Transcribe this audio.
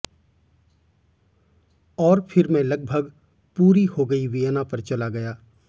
और फिर मैं लगभग पूरी हो गई वियना पर चला गया